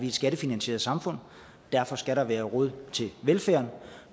et skattefinansieret samfund derfor skal der være råd til velfærd